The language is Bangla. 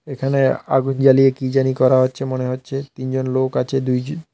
এখানে আগুন জ্বালিয়ে কি জানি করা হচ্ছে মনে হচ্ছে তিনজন লোক আছে --